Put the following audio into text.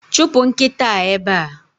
Chụpụ nkịta a ebe a!